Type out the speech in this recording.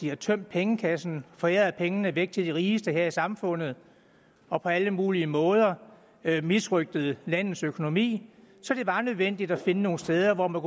har tømt pengekassen foræret pengene væk til de rigeste her i samfundet og på alle mulige måder misrøgtet landets økonomi så det var nødvendigt at finde nogle steder hvor man